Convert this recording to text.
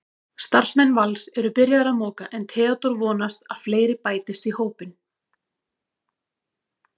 Starfsmenn Vals eru byrjaðir að moka en Theódór vonast að fleiri bætist í hópinn.